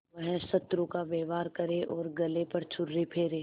वह शत्रु का व्यवहार करे और गले पर छुरी फेरे